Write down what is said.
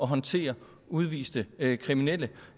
håndtere udviste kriminelle